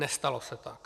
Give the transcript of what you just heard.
Nestalo se tak.